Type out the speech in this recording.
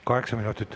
Kaheksa minutit.